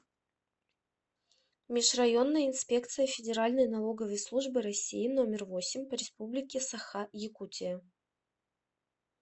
межрайонная инспекция федеральной налоговой службы россии номер восемь по республике саха якутия